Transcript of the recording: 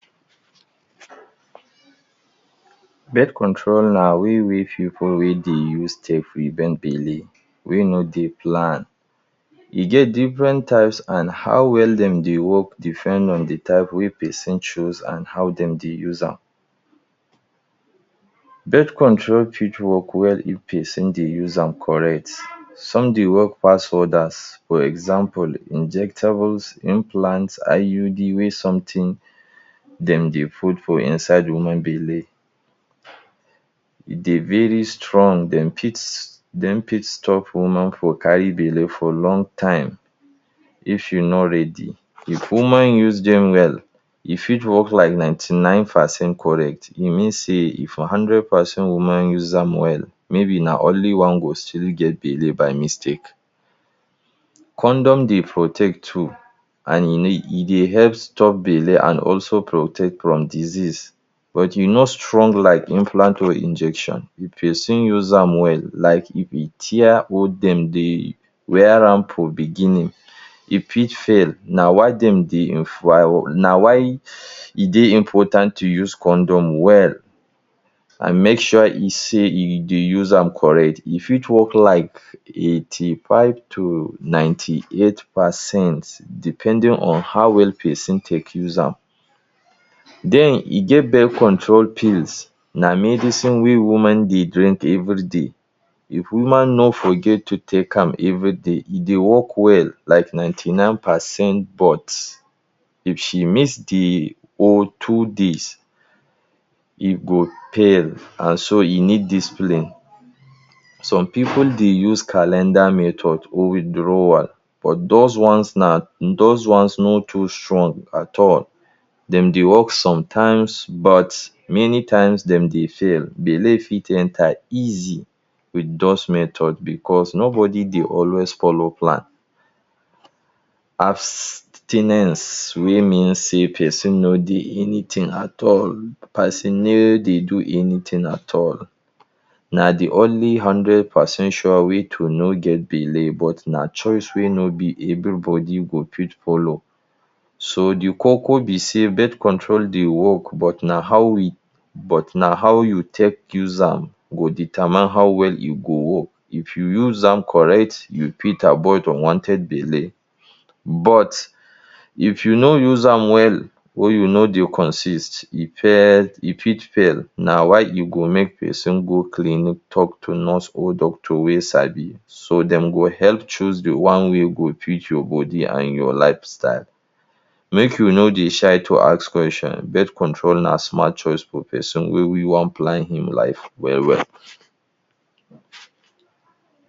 Birth control na way wey pipu wey dey use take prevent belle wey no dey planned. E get different types and how well dem dey work depend on the type wey pesin chose and how dem dey use am. Birth control fit work well if pesin dey use am correct. Some dey work pass others. For example, Injectibles, implants, IUD - wey something dem dey fold for inside woman belle. E dey very strong, dem fit dem fit stop woman from carry belle for long time if you no ready. If woman use dem well, e fit work like ninety-nine percent correct. E mean sey if hundred percent woman use am well, maybe na only one go still get belle by mistake. Condom dey protect too and e dey help stop belle and also protect from disease. But e no strong like implant or injection. If pesin use am well, like if e tear or dem dey wear am for beginning, e fit fail. Na why dem dey na why e dey important to use condom well and make sure e sey e dey use am correct. E fit work like eighty-five to ninety-eight percent depending on how well pesin take use am. Den e get birth control pills. Na medicine wey woman dey drink everyday. If woman no forget to take am everyday, e dey work well like ninety-nine percent. But if she miss the whole two days, e go fail and so e need discipline. Some pipu dey use calendar method or withdrawal. But dose ones na, dose ones no too strong at all. Dem dey work sometimes, but many times dem dey fail. Belle fit enter easy with those method because nobody dey always follow plan. Abstinence wey mean sey pesin no dey anything at all. Pesin no dey do anything at all, na de only hundred percent sure way to no get belle, but na choice wey no be everybody go fit follow. So de koko be sey, birth control dey work but na how we but na how you take use am go determine how well e go work. If you use am correct, you fit abort unwanted belle. But if you no use am well, wey you no dey consist, you fit fail. Na why e good make pesin go clinic talk to nurse or doctor wey sabi, so dem go help choose the one wey go fit your body and your lifestyle. Make you no dey shy to ask question. Birth control na smart choice for pesin wey wey wan plan im life well-well.